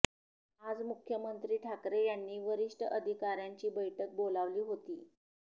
आज मुख्यमंत्री ठाकरे यांनी वरिष्ठ अधिकाऱ्यांची बैठक बोलावली होती